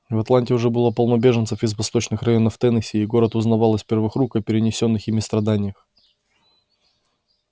в атланте уже было полно беженцев из восточных районов теннесси и город узнавал из первых рук о перенесённых ими страданиях